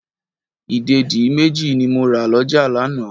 Ìdèdí méjì ni mo rà lọ́jà lánàá.